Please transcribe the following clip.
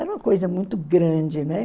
Era uma coisa muito grande, né?